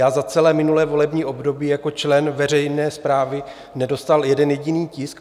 Já za celé minulé volební období jako člen veřejné správy nedostal jeden jediný tisk.